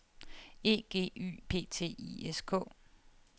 E G Y P T I S K